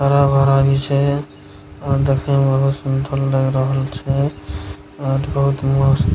हरा-भरा नीचे हेय और देखे में बहुत सुन्दर लग रहल छै और बहुत मस्त --